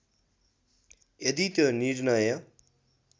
यदि त्यो निर्णय